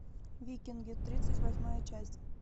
викинги тридцать восьмая часть